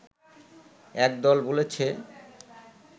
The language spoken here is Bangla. একদল বলেছে